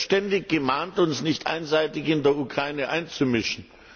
Wir werden ständig gemahnt, uns nicht einseitig in der Ukraine einzumischen.